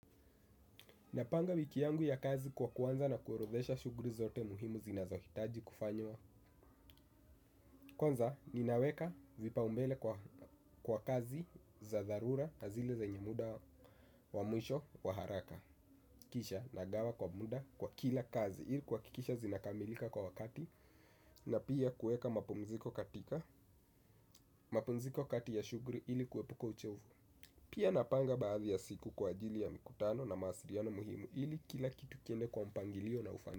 Napanga wiki yangu ya kazi kwa kuanza na kuorodhesha shughuli zote muhimu zinazohitaji kufanywa kwanza ninaweka vipaumbele kwa kazi za dharura na zile zenyebmuda wa mwisho wa haraka. Kisha nagawa kwa muda kwa kila kazi ili kuhakikisha zinakamilika kwa wakati na pia kueka mapumziko kati ya shughuli ili kuwepuko uchovu. Pia napanga baadhi ya siku kwa ajili ya mikutano na mawasiliano muhimu ili kila kitu kiende kwa mpangilio na ufan.